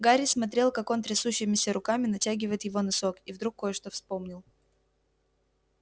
гарри смотрел как он трясущимися руками натягивает его носок и вдруг кое-что вспомнил